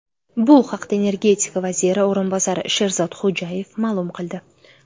Bu haqda energetika vaziri o‘rinbosari Sherzod Xo‘jayev ma’lum qildi.